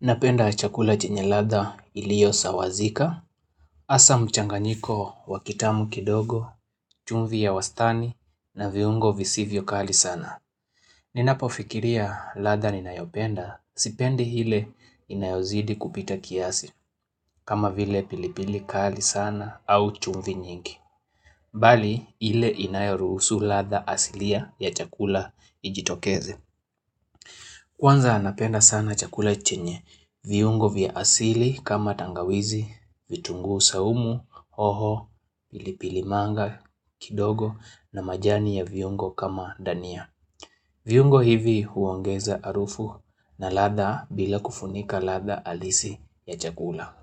Napenda chakula chenye ladha iliyo sawazika, asa mchanganyiko wakitamu kidogo, chumvi ya wastani na viungo visivyo kali sana. Ninapo fikiria ladha ninayopenda, sipendi hile inayozidi kupita kiasi, kama vile pilipili kali sana au chumvi nyingi. Bali hile inayorusu ladha asilia ya chakula ijitokeze. Kwanza anapenda sana chakula chenye, viungo vya asili kama tangawizi, vitunguu saumu, hoho, pilipili manga kidogo na majani ya viungo kama dania. Viungo hivi huongeza harufu na ladha bila kufunika ladha halisi ya chakula.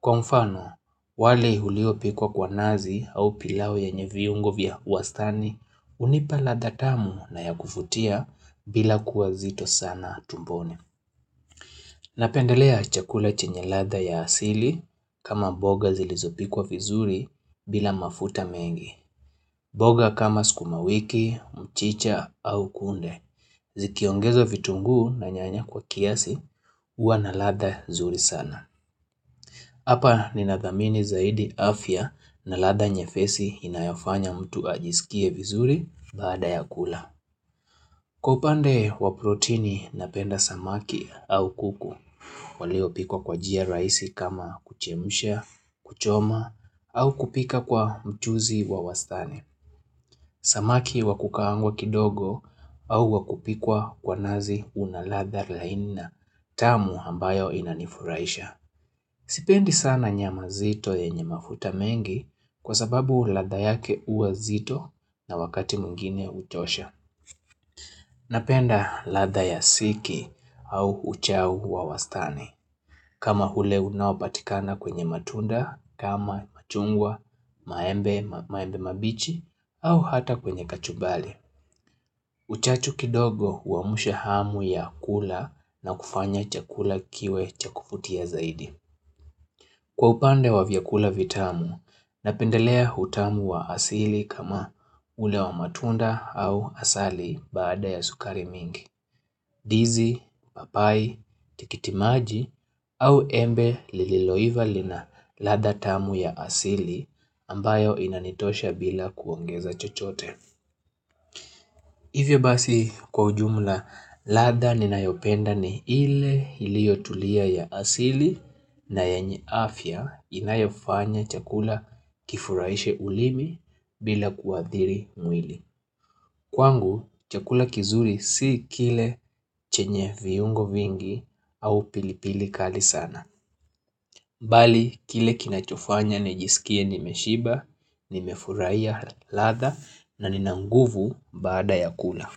Kwa mfano, wali uliopikwa kwa nazi au pilau yenye viungo vya huastani, unipa ladha tamu na ya kufutia bila kuwa zito sana tumboni. Napendelea chakula chenye latha ya asili kama mboga zilizopikwa vizuri bila mafuta mengi. Mboga kama skumawiki, mchicha au kunde. Zikiongezwa vitunguu na nyanya kwa kiasi, uwa na ladha zuri sana. Hapa ninadhamini zaidi afya na ladha nyepesi inayofanya mtu ajisikie vizuri baada ya kula. Kwa upande wa proteini napenda samaki au kuku, waliopikwa kwa jia raisi kama kuchemsha, kuchoma au kupika kwa mchuzi wa wastani. Samaki wakukaangwa kidogo au wakupikwa kwa nazi unaladha laini na tamu ambayo inanifuraisha. Sipendi sana nyama zito yenye mafuta mengi kwa sababu ladha yake huwa zito na wakati mwingine uchosha. Napenda latha ya siki au uchau wa wastani. Kama hule unapatikana kwenye matunda, kama machungwa, maembe mabichi, au hata kwenye kachubari. Uchachu kidogo uamusha hamu ya kula na kufanya chakula kiwe chakuvutia zaidi. Kwa upande wa vyakula vitamu, napendelea hutamu wa asili kama ule wa matunda au asali baada ya sukari mingi, ndizi, papai, tikitimaji au embe lililoiva lina ladha tamu ya asili ambayo inanitosha bila kuongeza chochote. Hivyo basi kwa ujumla latha ninayopenda ni ile iliyo tulia ya asili na yanye afya inayofanya chakula kifuraishe ulimi bila kuadhiri mwili. Kwangu chakula kizuri si kile chenye viungo vingi au pilipili kali sana. Mbali kile kinachofanya nijisikie nimeshiba, nimefurahiya ladha na nina nguvu bada ya kula.